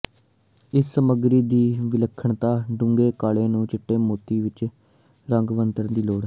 ਇਸ ਸਮੱਗਰੀ ਦੀ ਵਿਲੱਖਣਤਾ ਡੂੰਘੇ ਕਾਲੇ ਨੂੰ ਚਿੱਟੇ ਮੋਤੀ ਕਈ ਰੰਗ ਵਰਤਣ ਦੀ ਲੋੜ ਹੈ